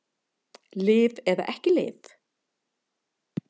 Lyf eða ekki lyf